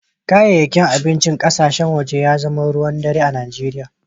Kayayyakin abinci na kasashen waje sun zama ruwan dare a Najeriya.